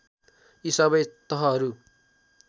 यी सबै तहहरू